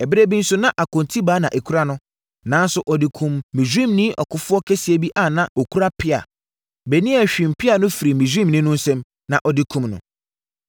Ɛberɛ bi nso, na akontibaa na ɛkura no, nanso ɔde kumm Misraimni ɔkofoɔ kɛseɛ bi a na ɔno kura pea. Benaia hwam pea no firii Misraimni no nsam, na ɔde kumm no.